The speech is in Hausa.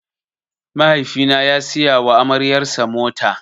Mahaifi na ya siya wa amaryar sa mota.